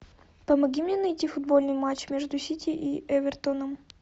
помоги мне найти футбольный матч между сити и эвертоном